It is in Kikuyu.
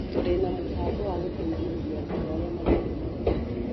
Tũrĩ na mũbango wa gũteithĩrĩria arutwo arĩa matarĩ na ũhoti.